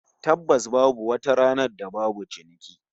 Tabbas babu wata ranar da babu ciniki